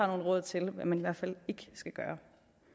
råd til hvad man i hvert fald ikke skal gøre